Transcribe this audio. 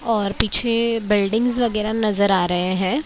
और पीछे बिल्डिंग्स वगेरा नज़र आ रहे है।